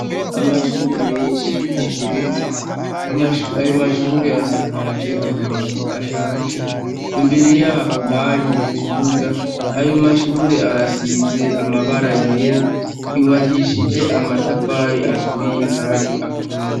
Amashure menshi ageretse, ayo mashure asakajwe amabati ashaje. Imbere yaho har'ikibuga, ayo mashure arasize amabara yera, yubakishije amatafari aturiye Kandi akomeye.